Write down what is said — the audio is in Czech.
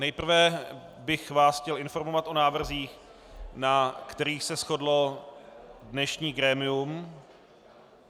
Nejprve bych vás chtěl informovat o návrzích, na kterých se shodlo dnešní grémium.